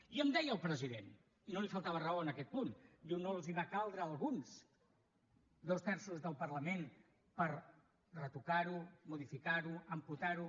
i em deia el president i no li faltava raó en aquest punt diu no els van caldre a alguns dos terços del parlament per retocar ho modificar ho amputar ho